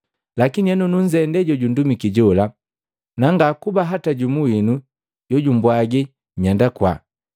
Lakini henu nunzendee jojundumiki jola, na ngakuba hata jumu winu jojumbwagi nyenda kwaa.